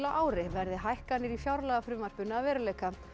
á ári verði hækkanir í fjárlagafrumvarpinu að veruleika